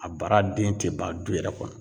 A bara den te ban du yɛrɛ kɔnɔ.